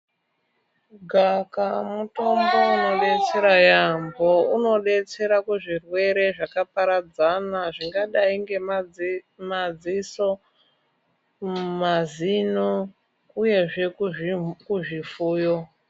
Gavakava mutombo undersea yaambo. Unodetsera kuzvirwere zvakaparadzana zvingadai nemadziso, mazino uyezve kuzvifuyo.